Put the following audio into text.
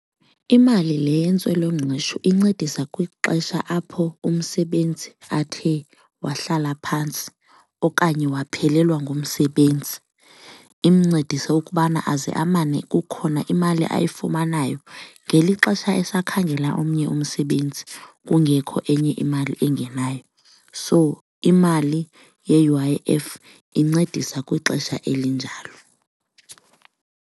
Imali le yentswelongqesho incedisa kwixesha apho umsebenzi athe wahlala phantsi okanye waphelelwa ngumsebenzi, imncedise ukubana aze amane kukhona imali ayifumanayo ngeli xesha esakhangela omnye umsebenzi kungekho enye imali engenayo. So imali ye-U_I_F incedisa kwixesha elinjalo.